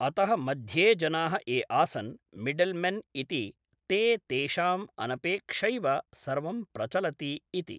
अतः मध्ये जनाः ये आसन् मिड्ल्मेन् इति ते तेषाम् अनपेक्षैव सर्वं प्रचलति इति